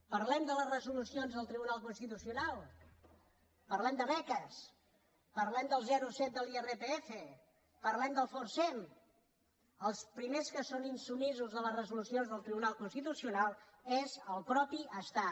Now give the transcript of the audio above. parlem de les resolucions del tribunal constitucio nal parlem de beques parlem del zero coma set de l’irpf parlem del forcem els primers que són insubmisos de les resolucions del tribunal constitucional és el mateix estat